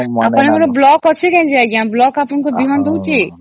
ଆପଣଙ୍କର block ଅଛି ନ ନାଇଁ block ଆପଣଙ୍କୁ ବୀମା ଦଉଚି ?